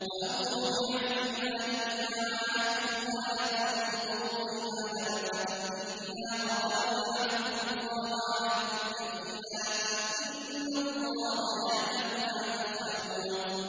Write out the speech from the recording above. وَأَوْفُوا بِعَهْدِ اللَّهِ إِذَا عَاهَدتُّمْ وَلَا تَنقُضُوا الْأَيْمَانَ بَعْدَ تَوْكِيدِهَا وَقَدْ جَعَلْتُمُ اللَّهَ عَلَيْكُمْ كَفِيلًا ۚ إِنَّ اللَّهَ يَعْلَمُ مَا تَفْعَلُونَ